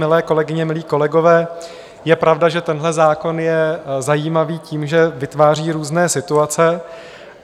Milé kolegyně, milí kolegové, je pravda, že tenhle zákon je zajímavý tím, že vytváří různé situace.